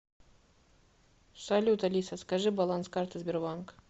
салют алиса скажи баланс карты сбербанк